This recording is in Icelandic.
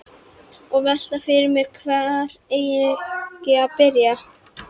Og velti fyrir mér hvar eigi að byrja.